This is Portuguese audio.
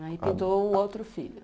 Aí pintou um outro filho.